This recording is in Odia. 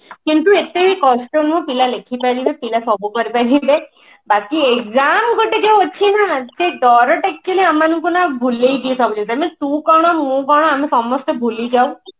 କିନ୍ତୁ ଏତେ ବି କଷ୍ଟ ନୁହଁ ପିଲା ଲେଖି ପାରିବେ ପିଲା ସବୁ କରିପାରିବେ but ବାକି exam ଗୋଟେ ଯୋଉ ଅଛି ନା ସେ ଡର ଟା actually ଆମ ମାନଙ୍କୁ ନା ଭୁଲେଇ ଦିଏ ସବୁ ଜିନିଷ ମାନେ ତୁ କଣ ମୁଁ କଣ ଆମେ ସମସ୍ତେ ଭୁଲି ଯାଉ